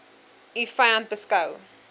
u vyand beskou